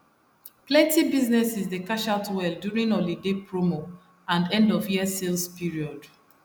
plenty businesses dey cash out well during holiday promo and endofyear sales period